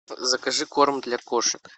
закажи корм для кошек